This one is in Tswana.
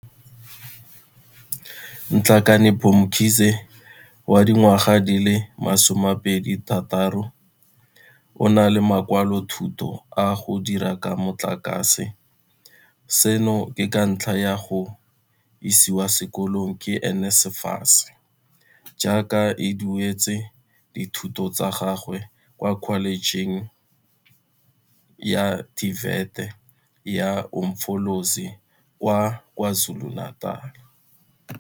Nhlakanipho Mkhize, wa dingwaga di le 26, o na le makwalothuto a go dira ka motlakase, seno ke ka ntlha ya go isiwa sekolong ke NSFAS, jaaka e dueletse dithuto tsa gagwe kwa Kholejeng ya TVET ya Umfolozi kwa KwaZulu-Natal.